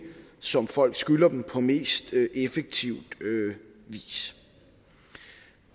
som folk skylder dem på mest effektiv vis